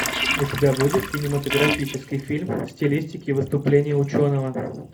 у тебя будет кинематографический фильм в стилистике выступления ученого